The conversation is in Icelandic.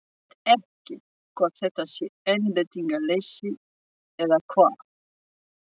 Ég veit ekki hvort þetta sé einbeitingarleysi eða hvað?